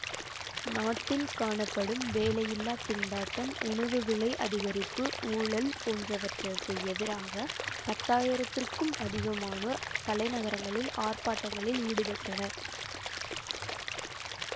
நாட்டில் காணப்படும் வேலையில்லா திண்டாட்டம் உணவு விலை அதிகரிப்பு ஊழல் போன்றவற்றுக்கு எதிராக பத்தாயிரத்திற்க்கும் அதிகமானோர் தலைநகரில் ஆர்ப்பாட்டங்களில் ஈடுபட்டனர்